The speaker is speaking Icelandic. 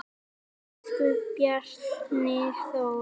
Elsku Bjarni Þór.